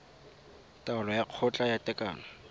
taolo ya kgotla ya tekano